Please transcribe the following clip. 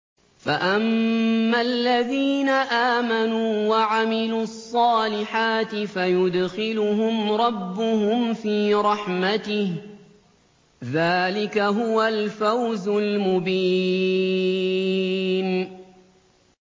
فَأَمَّا الَّذِينَ آمَنُوا وَعَمِلُوا الصَّالِحَاتِ فَيُدْخِلُهُمْ رَبُّهُمْ فِي رَحْمَتِهِ ۚ ذَٰلِكَ هُوَ الْفَوْزُ الْمُبِينُ